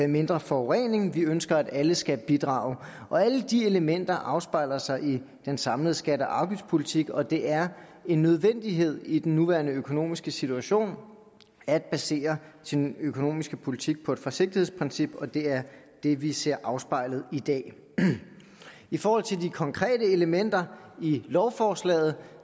mindre forurening vi ønsker at alle skal bidrage og alle de elementer afspejler sig i den samlede skatte og afgiftspolitik og det er en nødvendighed i den nuværende økonomiske situation at basere sin økonomiske politik på et forsigtighedsprincip og det er det vi ser afspejlet i dag i forhold til de konkrete elementer i lovforslaget